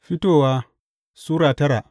Fitowa Sura tara